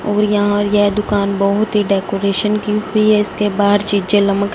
और यहाँ ये दुकान बहोत ही डेकोरेशन की हुई हैं इसके बाहर चीचे --